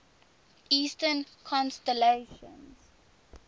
eastern constellations